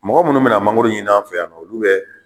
Mɔgɔ minnu mina ma mangoro ɲin'an fɛ yan nɔn olu bɛ